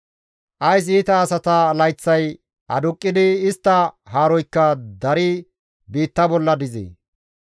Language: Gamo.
«Ays iita asata layththay aduqqidi istta haaroykka daridi biitta bolla dizee?